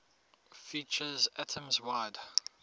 features atoms wide